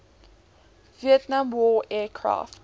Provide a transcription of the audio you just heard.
vietnam war aircraft